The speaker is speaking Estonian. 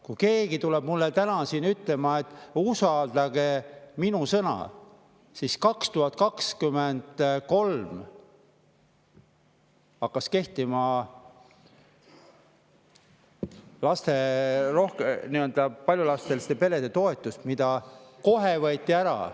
Kui keegi tuleb mulle täna siin ütlema: "Usaldage minu sõna," siis 2023 hakkas kehtima lasterikaste perede toetus, mis võeti kohe jälle ära.